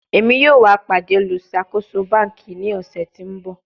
Emi yoo wa pade oluṣakoso banki ni ọsẹ ti n bọ